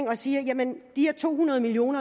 man siger jamen de her to hundrede million